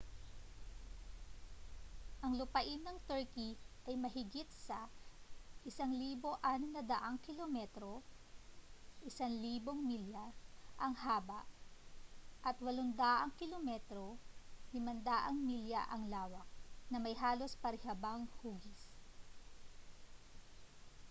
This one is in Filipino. ang lupain ng turkey ay mahigit sa 1,600 kilometro 1,000 mi ang haba at 800 km 500 mi ang lawak na may halos parihabang hugis